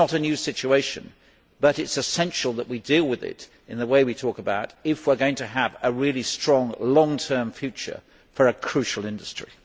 This is not a new situation, and it is essential that we deal with it in the way we are talking about if we are to have a really strong, long term future for a crucial industry.